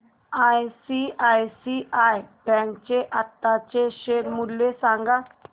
ICICI bank चे आताचे share मूल्य सांगा